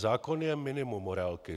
Zákon je minimum morálky.